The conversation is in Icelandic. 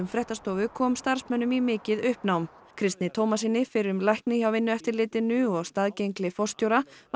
fréttastofu kom starfsmönnum í mikið uppnám Kristni Tómassyni fyrrum lækni hjá Vinnueftirlitinu og staðgengli forstjóra var